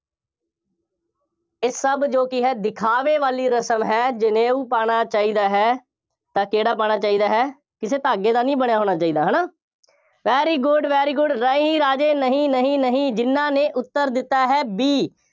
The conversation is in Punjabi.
ਇਹ ਸਭ ਜੋ ਕਿ ਹੈ ਦਿਖਾਵੇ ਵਾਲੀ ਰਸਮ ਹੈ। ਜਨੇਊ ਪਾਉਣਾ ਚਾਹੀਦਾ ਹੈ, ਤਾਂ ਕਿਹੜਾ ਪਾਉਣਾ ਚਾਹੀਦਾ ਹੈ। ਕਿਸੇ ਧਾਗੇ ਦਾ ਨਹੀਂ ਬਣਿਆ ਹੋਣਾ ਚਾਹੀਦਾ, ਹੈ ਨਾ, very good, very good ਨਹੀਂ ਰਾਜੇ, ਨਹੀਂ, ਨਹੀਂ, ਨਹੀਂ, ਜਿੰਨ੍ਹਾ ਨੇ ਉੱਤਰ ਦਿੱਤਾ ਹੈ B